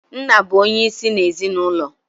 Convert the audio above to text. Nna bụ onye isi n'ezinụlọ.